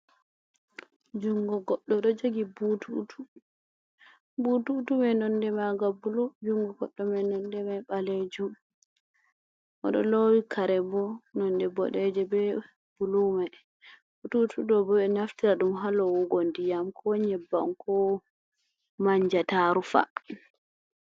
Jongo goɗɗo ɗo jogi bututu. Bututumai nonɗe maga bulu. Jungo goɗɗo mai nonɗe mai balejum. Oɗo lowi karebo nonɗe bodeje be bulumai. Bututuɗo bo be naftira dum ha lowugo nɗiyam, ko nyebbam, ko manja ta rufa.